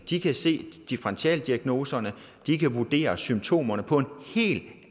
de kan se differentialdiagnoserne at de kan vurdere symptomerne på en helt